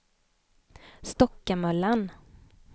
Stockamöllan